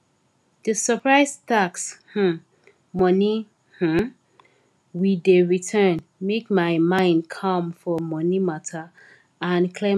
di surprise tax um moni um we dey return make my mind calm for money matter and clear my head small